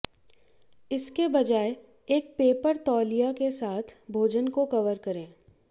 इसके बजाय एक पेपर तौलिया के साथ भोजन को कवर करें